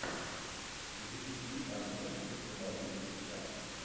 запусти анна где снимался джеки чан